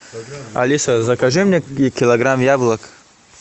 алиса закажи мне килограмм яблок